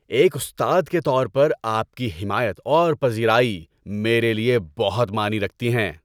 ایک استاد کے طور پر آپ کی حمایت اور پذیرائی میرے لیے بہت معنی رکھتی ہیں۔